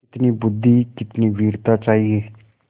कितनी बुद्वि कितनी वीरता चाहिए